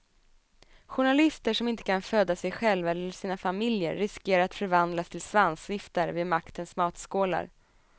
Journalister som inte kan föda sig själva eller sina familjer riskerar att förvandlas till svansviftare vid maktens matskålar.